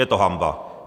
Je to hanba.